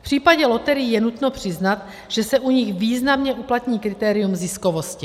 V případě loterií je nutno přiznat, že se u nich významně uplatní kritérium ziskovosti.